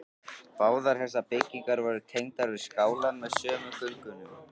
Báðar þessar byggingar voru tengdar við skálann með sömu göngunum.